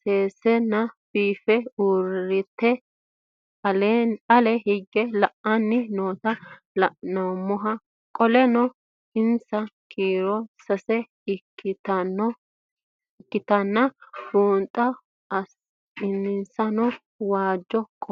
sesena biife urite ale hige la'ani noota la'nemo qoleno insa kiiro sase ikinotana bunxana insano waajo qofe